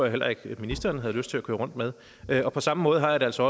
heller ikke at ministeren havde lyst til at køre rundt med og på samme måde har jeg det altså